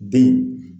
Den